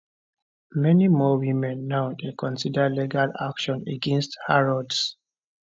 many more women now dey consider legal action against harrods